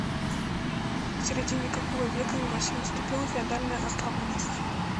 к середине какого века на руси наступила феодальная раздробленность